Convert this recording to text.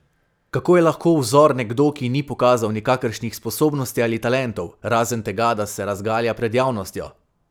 Kako je lahko vzor nekdo, ki ni pokazal nikakršnih sposobnosti ali talentov, razen tega da se razgalja pred javnostjo?